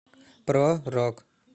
про рок